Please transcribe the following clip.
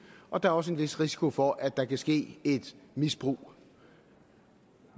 og der er også en vis risiko for at der kan ske et misbrug